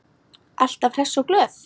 Alltaf hress og glöð.